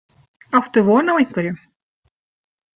Áttu von á einhverjum?